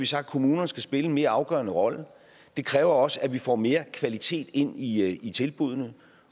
sagt at kommunerne skal spille en mere afgørende rolle det kræver også at vi får mere kvalitet ind i i tilbuddene